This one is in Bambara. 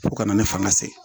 Fo kana ne fanga sɛgɛn